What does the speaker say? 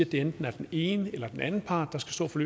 det enten er den ene eller den anden part der skal stå for